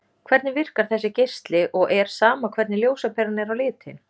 Hvernig virkar þessi geisli og er sama hvernig ljósaperan er á litinn?